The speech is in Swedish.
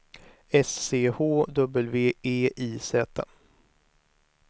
S C H W E I Z